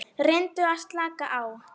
Hún hrakti hana burt.